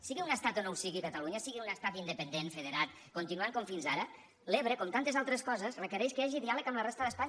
sigui un estat o no ho sigui catalunya sigui un estat independent federat continuant com fins ara l’ebre com tantes altres coses requereix que hi hagi diàleg amb la resta d’espanya